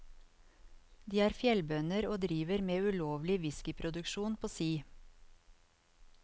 De er fjellbønder og driver med ulovlig whiskeyproduksjon på si.